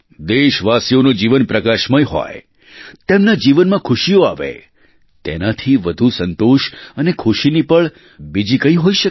દેશવાસીઓનું જીવન પ્રકાશમય હોય તેમના જીવનમાં ખુશીઓ આવે તેનાથી વધુ સંતોષ અને ખુશીની પળ બીજી કઈ હોઈ શકે